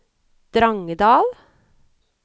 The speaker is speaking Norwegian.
Drangedal